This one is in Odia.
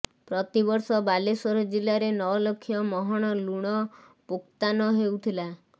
ପ୍ରତି ବର୍ଷ ବାଲେଶ୍ୱର ଜିଲ୍ଲାରେ ନ ଲକ୍ଷ ମହଣ ଲୁଣ ପୋକ୍ତାନ ହେଉଥିଲା